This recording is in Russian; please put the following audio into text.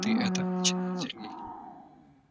ты это начинает сергей